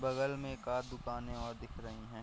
बगल में एकात दुकानें और दिख रहीं हैं।